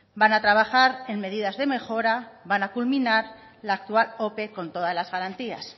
van a trabajar en medidas de mejora van a culminar la actual ope con todas las garantías